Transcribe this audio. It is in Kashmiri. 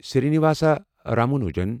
سرینواسا رامانجن